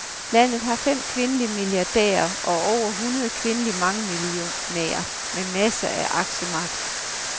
Landet har fem kvindelige milliardærer og over hundrede kvindelige mangemillionærer med masser af aktiemagt.